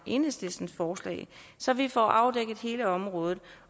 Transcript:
enhedslistens forslag så vi får afdækket hele området